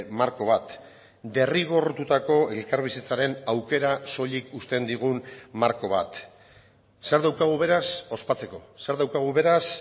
marko bat derrigortutako elkarbizitzaren aukera soilik uzten digun marko bat zer daukagu beraz ospatzeko zer daukagu beraz